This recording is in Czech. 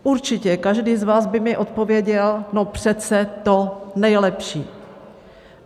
Určitě každý z vás by mi odpověděl, no přece to nejlepší.